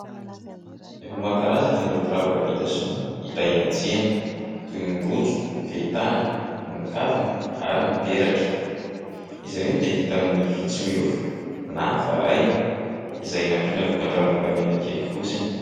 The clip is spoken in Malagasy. Efa maro karazana ireo firavaka vita sinoa hita eny an-tsena toy ny rojo, ny fehintanana, ny kavina ary ny peratra. Izy ireny dia vita amin'ny vy tsy miofo na varahina, izay nampiana lokon-dranom-bolamena kely fotsiny.